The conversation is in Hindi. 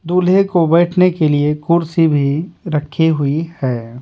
दूल्हे को बैठने के लिए कुर्सी भी रखी हुई है।